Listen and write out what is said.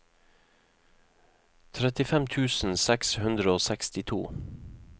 trettifem tusen seks hundre og sekstito